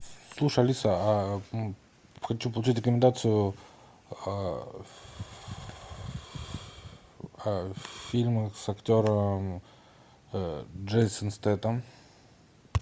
слушай алиса хочу получить рекомендацию о фильмах с актером джейсон стэйтем